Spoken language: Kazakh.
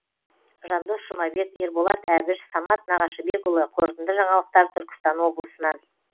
жандос жұмабек ерболат әбіш самат нағашыбекұлы қорытынды жаңалықтар түркістан облысынан